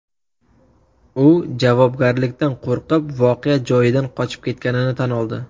U javobgarlikdan qo‘rqib, voqea joyidan qochib ketganini tan oldi.